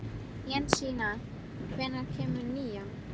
Jensína, hvenær kemur nían?